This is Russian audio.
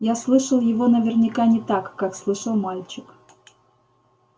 я слышал его наверняка не так как слышал мальчик